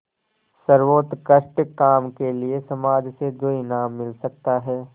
सर्वोत्कृष्ट काम के लिए समाज से जो इनाम मिल सकता है